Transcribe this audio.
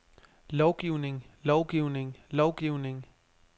lovgivning lovgivning lovgivning